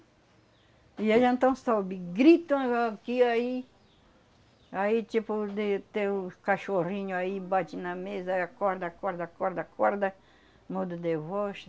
E aí, então, sobe, gritam aqui, aí... Aí, cachorrinho aí, bate na mesa, aí acorda, acorda, acorda, acorda, modo de